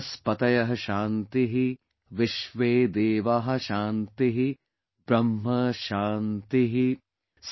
वनस्पतयः शान्तिः विश्वेदेवाः शान्तिः ब्रह्म शान्तिः,